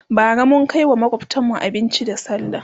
bara mun Kai wa makwftanmu abinci da sallah